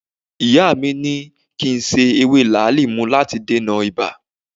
Ìyá mi ni kí n se ewé làálì mu láti dènà ibà